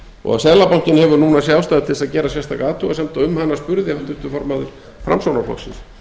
og seðlabankinn hefur núna séð ástæðu til að gera sérstaka athugasemd og um hana spurði háttvirtur formaður framsóknarflokksins